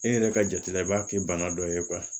E yɛrɛ ka jate la i b'a kɛ bana dɔ ye